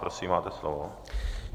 Prosím, máte slovo.